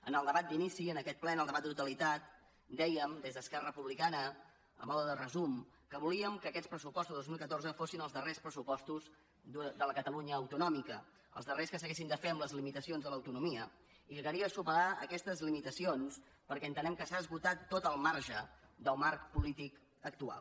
en el debat d’inici en aquest ple en el debat de totalitat dèiem des d’esquerra republicana a manera de resum que volíem que aquests pressupostos del dos mil catorze fossin els darrers pressupostos de la catalunya autonòmica els darrers que s’haguessin de fer amb les limitacions de l’autonomia i que calia superar aquestes limitacions perquè entenem que s’ha esgotat tot el marge del marc polític actual